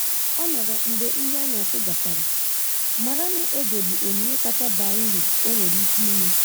Ọ nọrọ mgbe nri anyasi gachara, mara na oge bụ onyinye kacha baa uru o nwere ike inye.